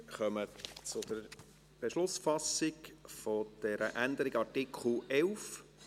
Wir kommen zur Beschlussfassung über die Änderung des Artikels 11.